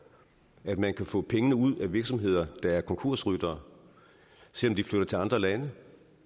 at man kan få pengene ud af virksomheder der er konkursryttere selv om de flytter til andre lande